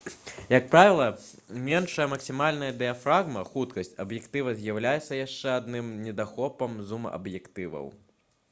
як правіла меншая максімальная дыяфрагма хуткасць аб'ектыва з'яўляецца яшчэ адным недахопам зум-аб'ектываў